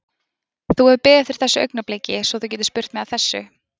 Þú hefur beðið eftir þessu augnabliki svo þú getir spurt mig að þessu?